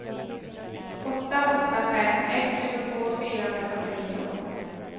åtta åtta fem ett tjugotvå fyrahundrafyrtionio